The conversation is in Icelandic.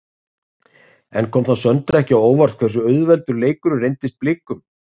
En kom það Söndru ekki á óvart þá hversu auðveldur leikurinn reyndist Blikum?